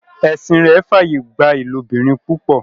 ẹsìn rẹ f'aye gbà ilobirin púpọ.